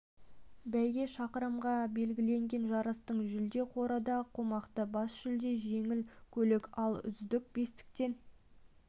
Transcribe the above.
бәйге шақырымға белгіленген жарыстың жүлде қоры да қомақты бас жүлдеге жеңіл көлік ал үздік бестіктен